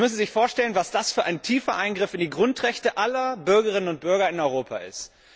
Sie müssen sich vorstellen, was für ein tiefer Eingriff in die Grundrechte aller Bürgerinnen und Bürger in Europa dies ist.